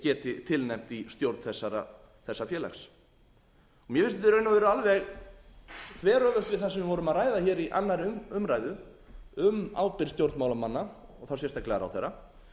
geti tilnefnt í stjórn þessa félags mér finnst þetta í raun og veru alveg þveröfugt við það sem við vorum að ræða hér í annarri umræðu um ábyrgð stjórnmálamanna og þá sérstaklega ráðherra